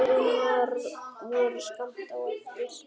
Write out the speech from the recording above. Finnar voru skammt á eftir.